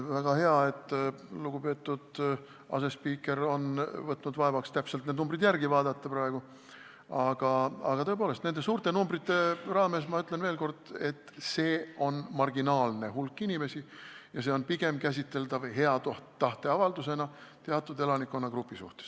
Väga hea, et lugupeetud asespiiker on võtnud vaevaks need täpsed numbrid praegu järele vaadata, ja tõepoolest, nende suurte numbrite taustal ma ütlen veel kord, et eelnõu hõlmab marginaalset hulka inimesi ja see on pigem käsitatav hea tahte avaldusena teatud elanikkonnagrupile.